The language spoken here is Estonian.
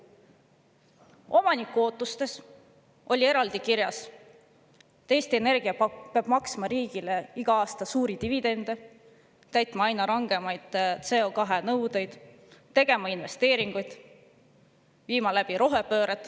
Omaniku ootustes oli eraldi kirjas, et Eesti Energia peab maksma riigile iga aasta suuri dividende, täitma aina rangemaid CO2-nõudeid, tegema investeeringuid, viima läbi rohepööret.